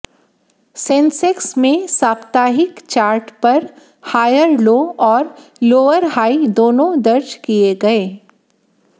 Sensex में साप्ताहिक chart पर हायर लो और लोअर हाई दोनों दर्ज किए गए